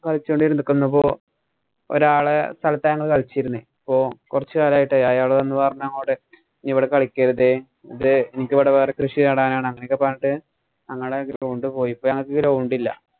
കളിച്ചോണ്ട് ഇരിക്കുമ്പോ ഒരാളുടെ സ്ഥലത്താ ഞങ്ങള് കളിച്ചിരുന്നെ. ഇപ്പൊ കൊറച്ച് കാലായിട്ടേ അയാള് വന്നു പറഞ്ഞു. അവിടെ ഇവിടെ കളിക്കരുതേ. എനിക്ക് ഇവിടെ വേറെ കൃഷി നടാനാണ്. അങ്ങനൊക്കെ പറഞ്ഞിട്ട്‌ ഞങ്ങടെ ground പോയി. ഇപ്പൊ ഞങ്ങക്ക് ground ഇല്ല.